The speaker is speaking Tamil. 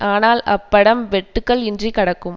ஆனால் அப்படம் வெட்டுக்கள் இன்றி கடக்கும்